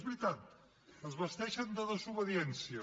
és veritat es vesteixen de desobediència